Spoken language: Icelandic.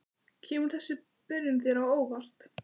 Kemur þessi byrjun þér á óvart?